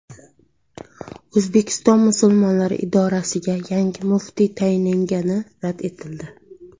O‘zbekiston musulmonlari idorasiga yangi muftiy tayinlangani rad etildi.